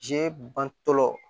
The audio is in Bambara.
Je bantɔ